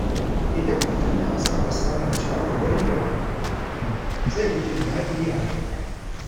Idan mutum ya saba samun shawarwari daga ƙwararru, zai fi jin daɗi a rayuwa.